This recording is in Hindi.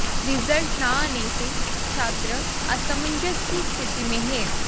रिजल्ट न आने से छात्र असमंजस की स्थिति में हैं